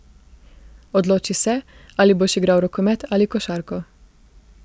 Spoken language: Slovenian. Odloči se, ali boš igral rokomet ali košarko.